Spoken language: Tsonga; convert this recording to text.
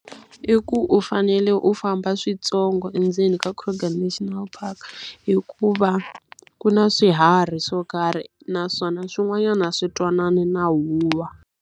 I ku u fanele u famba swintsongo endzeni ka Kruger National Park, hikuva ku na swiharhi swo karhi naswona swin'wanyana swi twanani na huwa.